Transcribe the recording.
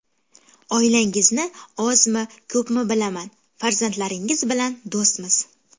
Oilangizni ozmi, ko‘pmi bilaman, farzandlaringiz bilan do‘stmiz.